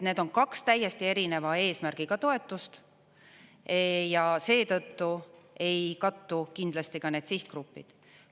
Need on kaks täiesti erineva eesmärgiga toetust ja seetõttu ei kattu kindlasti ka need sihtgrupid.